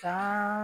San